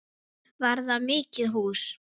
Var það mikið hús.